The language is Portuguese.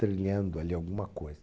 trilhando ali alguma coisa.